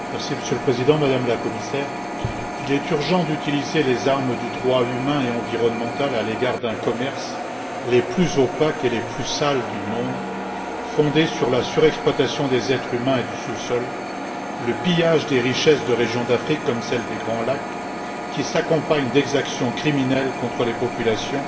Monsieur le Président, Madame la Commissaire, il est urgent d'utiliser les armes du droit humain et environnemental à l'égard d'un commerce des plus opaques et des plus sales du monde, fondé sur la surexploitation des êtres humains et du sous sol et sur le pillage des richesses de régions d'Afrique, comme celle des Grands Lacs, qui s'accompagnent d'exactions criminelles contre les populations